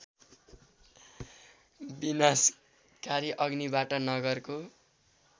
विनाशकारी अग्निबाट नगरको